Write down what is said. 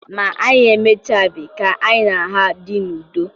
Ma, anyị emechabeghị ka anyị na ha dị n'udo.